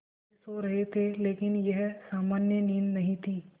दादाजी सो रहे थे लेकिन यह सामान्य नींद नहीं थी